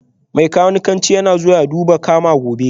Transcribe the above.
Mai kanikanci yana zuwa ya duba kama gobe